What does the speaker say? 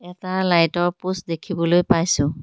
এটা লাইটৰ পোষ্ট দেখিবলৈ পাইছোঁ।